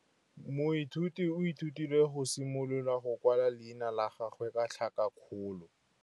Moithuti o ithutile go simolola go kwala leina la gagwe ka tlhakakgolo.